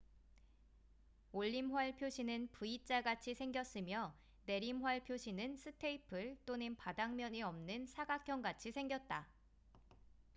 """올림활" 표시는 v자같이 생겼으며 "내림활" 표시는 스테이플 또는 바닥면이 없는 사각형같이 생겼다.